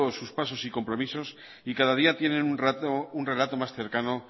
sus pasos y compromisos y cada día tiene un relato más cercano